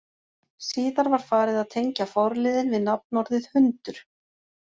Síðar var farið að tengja forliðinn við nafnorðið hundur.